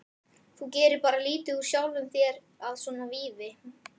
Þú gerir bara lítið úr sjálfum þér með svona vífi